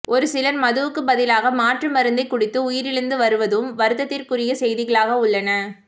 ஒரு சிலர் மதுவுக்கு பதிலாக மாற்று மருந்தை குடித்து உயிரிழந்து வருவதும் வருத்தத்திற்குரிய செய்தி களாக உள்ளன